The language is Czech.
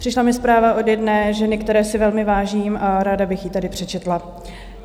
Přišla mi zpráva od jedné ženy, které si velmi vážím, a ráda bych ji tady přečetla.